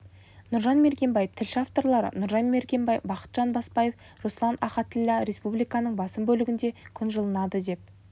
нұржан мергенбай тілші авторлары нұржан мергенбай бақытжан бапаев руслан ахатіллә республиканың басым бөлігінде күн жылынады деп